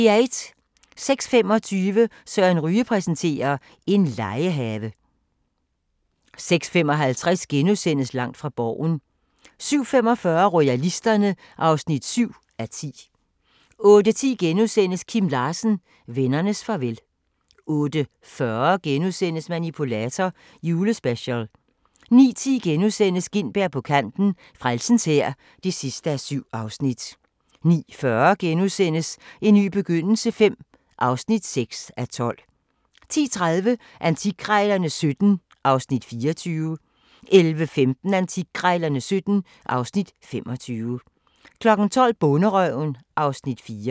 06:25: Søren Ryge præsenterer: En legehave 06:55: Langt fra Borgen * 07:45: Royalisterne (7:10) 08:10: Kim Larsen – vennernes farvel * 08:40: Manipulator – Julespecial * 09:10: Gintberg på kanten – Frelsens Hær (7:7)* 09:40: En ny begyndelse V (6:12)* 10:30: Antikkrejlerne XVII (Afs. 24) 11:15: Antikkrejlerne XVII (Afs. 25) 12:00: Bonderøven (Afs. 4)